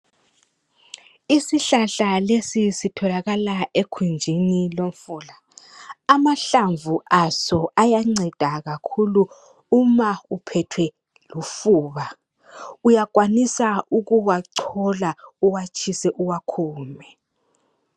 Isihlahla lesi sitholakala ekhunjini lomfula. Amahlamvu aso ayanceda kakhulu uma uphethwe lufuba. Uyakwanisa ukuwachola, uwatshise uwakhume.